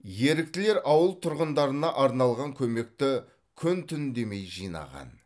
еріктілер ауыл тұрғындарына арналған көмекті күн түн демей жинаған